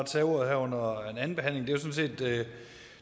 tage ordet her under anden behandling set at